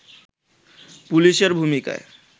পুলিশের ভূমিকায়